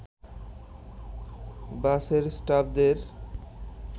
বাসের স্টাফদের